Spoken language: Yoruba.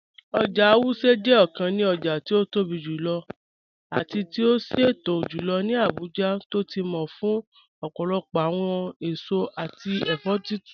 Oja Wuse jẹ ọkàn ní ọja ti o tóbi jùlọ̀ àti ti o ṣẹtọ̀ jùlọ̀ ní Abuja tó ti mọ̀ fún ọpọlọpọ awọn èṣọ̀ àti ẹfọ̀ títún